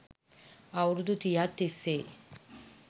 අවුරුදු තිහක් තිස්සේ